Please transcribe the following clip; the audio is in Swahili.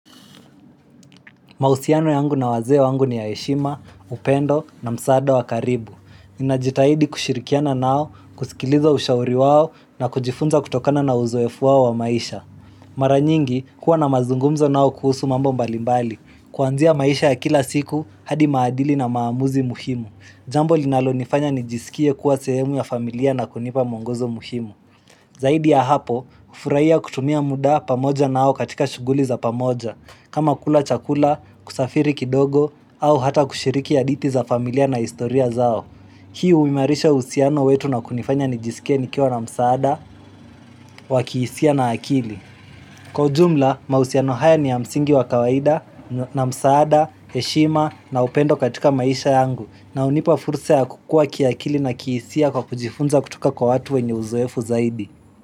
Mahusiano yangu na wazee wangu ni ya heshima, upendo na msaada wa karibu. Najitahidi kushirikiana nao, kusikiliza ushauri wao na kujifunza kutokana na uzoefu wao wa maisha. Mara nyingi, kuwa na mazungumzo nao kuhusu mambo mbalimbali. Kuanzia maisha ya kila siku, hadi maadili na maamuzi muhimu. Jambo linalo nifanya nijisikie kuwa sehemu ya familia na kunipa muongozo muhimu. Zaidi ya hapo, hufurahia kutumia muda pamoja nao katika shuguli za pamoja. Kama kula chakula, kusafiri kidogo, au hata kushiriki hadithi za familia na historia zao. Hii umimarisha uhusiano wetu na kunifanya nijisike nikiwa na msaada, wakihisia na akili. Kwa ujumla, mahusiano haya ni ya msingi wa kawaida, na msaada, heshima na upendo katika maisha yangu. Na hunipa fursa ya kukua kiakili na kihisia kwa kujifunza kutoka kwa watu wenye uzoefu zaidi.